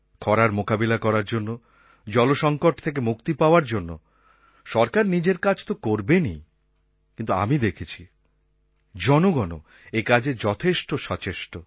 খরার মোকাবিলা করার জন্য জলসঙ্কট থেকে মুক্তি পাওয়ার জন্য সরকার নিজের কাজ তো করবেনই কিন্তু আমি দেখেছি জনগণও একাজে যথেষ্ট সচেষ্ট